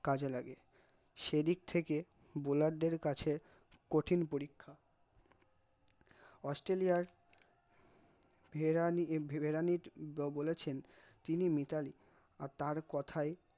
কাজে লাগে, সেদিক থেকে bowler দের কাছে কঠিন পরীক্ষা অস্ট্রেলিয়া ভেরানি ভেব ভেবরানী বলেছেন তিনি মিতালী আর তার কথায়